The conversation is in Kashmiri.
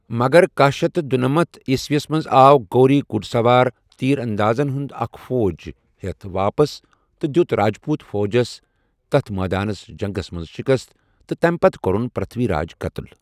مگر کہہَ شیتھ تہٕ دُنمنَتھ عیسوی منٛز آو غوری گُڈسوار تیراندازن ہُند اكھ فوج ہیھ واپس تہٕ دِیوٚت راجپوٗت فوجس تتھہِ مٲدانس جنگس منز شِكست تہٕ تمہِ پتہ كوٚرُن پر٘تھوی راج قتل ۔